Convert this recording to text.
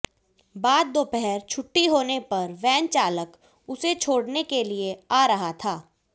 बाद दोपहर छुट्टी होने पर वैन चालक उसे घर छोडऩे के लिये आ रहा था